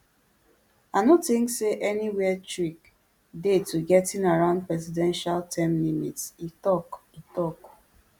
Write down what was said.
i no think say any weird trick dey to getting around presidential term limits e tok e tok